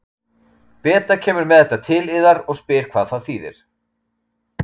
Beta kemur með þetta til yðar og spyr hvað það þýðir.